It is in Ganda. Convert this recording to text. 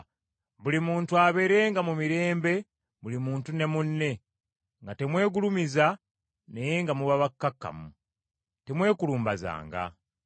Buli muntu abeerenga mu mirembe muntu ne munne, nga temwegulumiza naye nga muba bakkakkamu. Temwekulumbazanga.